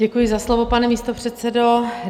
Děkuji za slovo, pane místopředsedo.